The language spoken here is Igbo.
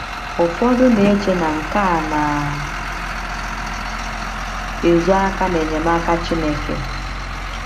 Ụfọdụ na - eche na nke a na - ezo aka n’enyemaka Chineke.